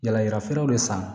Yala yalafeerelaw san